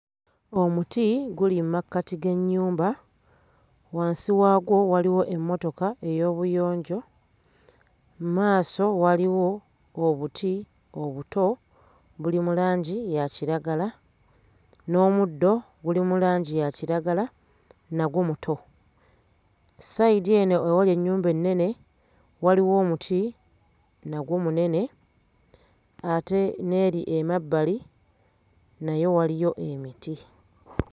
Omuti guli mmakati g'ennyumba, wansi wagwo waliwo emmotoka ey'obuyonjo, mmaaso waliwo obuti obuto buli mu langi ya kiragala, n'omuddo guli mu langi ya kiragala nagwo muto. Ssayidi eno ewali ennyumba ennene waliwo omuti nagwo munene ate n'eri emabbali nayo waliyo emiti.